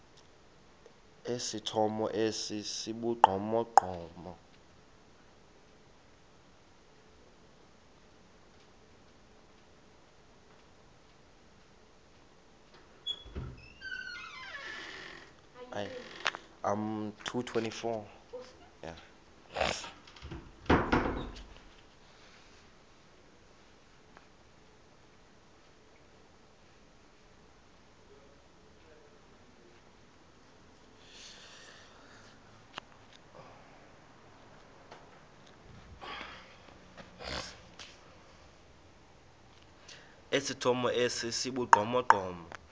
esithomo esi sibugqomogqomo